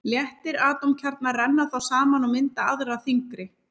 Léttir atómkjarnar renna þá saman og mynda aðra þyngri.